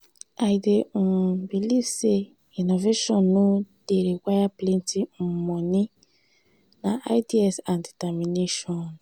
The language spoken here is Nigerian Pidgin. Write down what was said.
i dey um believe say innovation no dey require plenty um monie na ideas and determination.